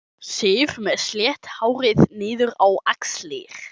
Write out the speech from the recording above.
Sif með slétt hárið niður á axlir.